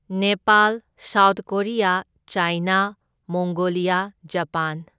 Nepal, South Korea, China, Mongolia, Japan.